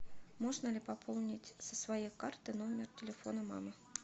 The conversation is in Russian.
можно ли пополнить со своей карты номер телефона мамы